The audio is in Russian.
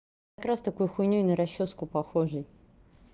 как раз такой хуйнёй на расчёску похожей